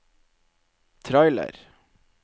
trailer